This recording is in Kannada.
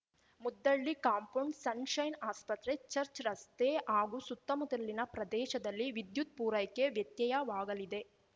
ಮುದ್ದಳ್ಳಿ ಕಾಂಪೌಂಡ್‌ ಸನ್‌ ಶೈನ್‌ ಆಸ್ಪತ್ರೆ ಚರ್ಚ್ ರಸ್ತೆ ಹಾಗೂ ಸುತ್ತಮುತ್ತಲಿನ ಪ್ರದೇಶದಲ್ಲಿ ವಿದ್ಯುತ್‌ ಪೂರೈಕೆ ವ್ಯತ್ಯಯವಾಗಲಿದೆ